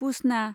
पुसना